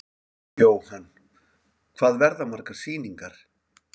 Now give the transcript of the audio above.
Jóhann: Hvað verða margar sýningar?